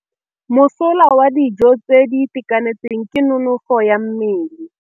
Mosola wa dijô tse di itekanetseng ke nonôfô ya mmele.